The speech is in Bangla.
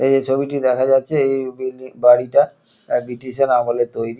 এই যে ছবিটি দেখা যাচ্ছে এই বিল্ডি বাড়িটা অ্যা ব্রিটিশ -এর আমলের তৈরি।